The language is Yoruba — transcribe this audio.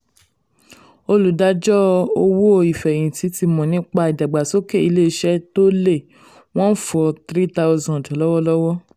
olùdájọ owó ìfẹ̀yìntì ti mọ̀ nípa ìdàgbàsókè ilé-iṣẹ́ tó lé 143000 lọ́wọ́lọ́wọ́.